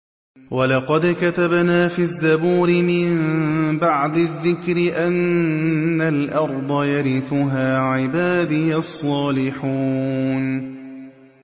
وَلَقَدْ كَتَبْنَا فِي الزَّبُورِ مِن بَعْدِ الذِّكْرِ أَنَّ الْأَرْضَ يَرِثُهَا عِبَادِيَ الصَّالِحُونَ